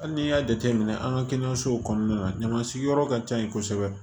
Hali n'i y'a jateminɛ an ka kɛnɛyasow kɔnɔna na ɲamansigiyɔrɔ ka ca yen kosɛbɛ